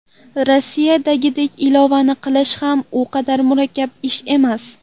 Rossiyadagidek ilovani qilish ham u qadar murakkab ish emas.